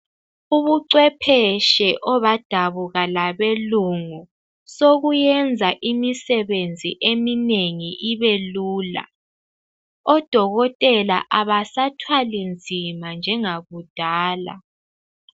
Ubuchwepheshe obadabuka labelungu sobuyenza imisebenzi eminengi ibelula. Odokotela abasathwalinzima njengakudala.